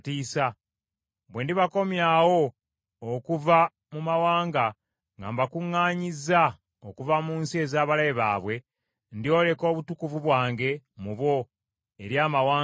Bwe ndibakomyawo okuva mu mawanga, nga mbakuŋŋaanyizza okuva mu nsi ez’abalabe baabwe, ndyoleka obutukuvu bwange mu bo eri amawanga mangi.